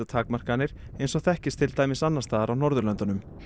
takmarkanir eins og þekkist til dæmis annars staðar á Norðurlöndunum